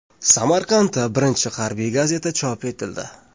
Samarqandda birinchi harbiy gazeta chop etildi.